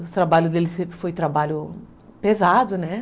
O trabalho dele sempre foi foi trabalho pesado, né?